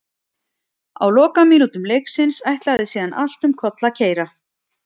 Á lokamínútum leiksins ætlaði síðan allt um koll að keyra.